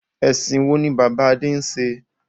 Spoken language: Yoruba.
Ẹ̀sìn wo ni bàbá Adé ń ṣe?